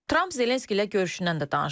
Tramp Zelenski ilə görüşündən də danışıb.